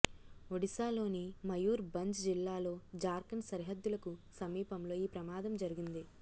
ఒడిశాలోని మయూర్ భంజ్ జిల్లాలో జార్ఖండ్ సరిహద్దులకు సమీపంలో ఈ ప్రమాదం జరిగింది